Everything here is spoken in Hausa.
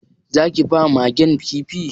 Za ki ba Magen Kifi?